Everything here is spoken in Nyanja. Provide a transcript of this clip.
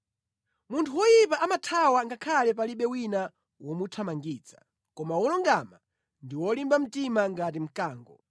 Munthu woyipa amathawa ngakhale palibe wina womuthamangitsa, koma wolungama ndi wolimba mtima ngati mkango.